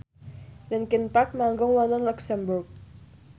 linkin park manggung wonten luxemburg